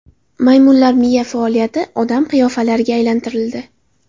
Maymunlar miya faoliyati odam qiyofalariga aylantirildi.